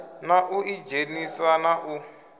na u idzhenisa na u